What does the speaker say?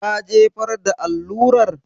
Ka jefar da allurar?